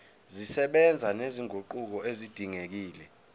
zisebenza nezinguquko ezidingekile